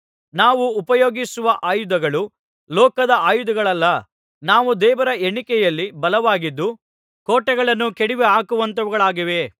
ನಾವು ಉಪಯೋಗಿಸುವ ಆಯುಧಗಳು ಲೋಕದ ಆಯುಧಗಳಲ್ಲ ಅವು ದೇವರ ಎಣಿಕೆಯಲ್ಲಿ ಬಲವಾಗಿದ್ದು ಕೋಟೆಗಳನ್ನು ಕೆಡವಿಹಾಕುವಂಥವುಗಳಾಗಿವೆ